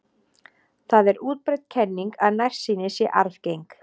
Það er útbreidd kenning að nærsýni sé arfgeng.